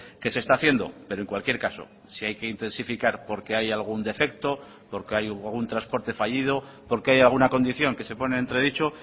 que se está haciendo pero en cualquier caso si hay que intensificar porque hay algún defecto porque hay un transporte fallido porque hay alguna condición que se pone entredicho